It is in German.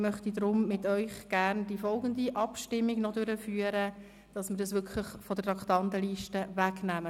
Ich möchte gern mit Ihnen darüber abstimmen, ob wir das Geschäft von der Traktandenliste nehmen.